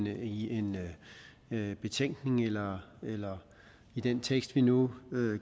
i en betænkning eller eller i den tekst vi nu